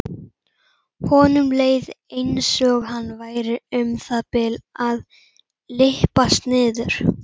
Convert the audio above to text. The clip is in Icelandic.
Honum leið einsog hann væri um það bil að lyppast niður.